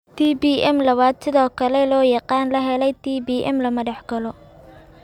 TBM labaad (sidoo kale loo yaqaan la helay TBM) lama dhaxlo.